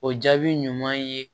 O jaabi ɲuman ye